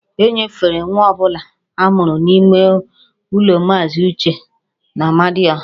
E nyefere nwa ọ bụla a mụrụ n'ime ụlọ Maazị Uche n'Amadịọha